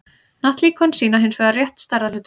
hnattlíkön sýna hins vegar rétt stærðarhlutföll